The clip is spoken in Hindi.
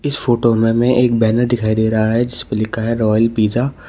फोटो में हमे एक बैनर दिखाई दे रहा है जिसपे लिखा है रॉयल पिज़्ज़ा ।